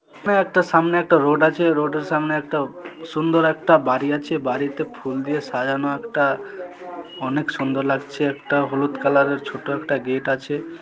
এখানে একটা সামনে একটা রোড আছে রোডের সামনে একটা সুন্দর একটা বাড়ি আছে বাড়িতে ফুল দিয়ে সাজানো একটা অনেক সুন্দর লাগছে একটা হলুদ কালার -এর ছোট একটা গেট আছে।